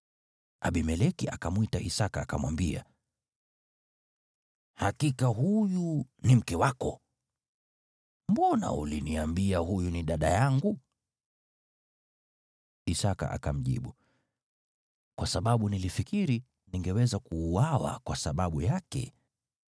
Abimeleki akamwita Isaki akamwambia, “Hakika huyu ni mke wako! Mbona uliniambia, ‘Huyu ni dada yangu?’ ” Isaki akamjibu, “Kwa sababu nilifikiri ningeweza kuuawa kwa sababu yake.”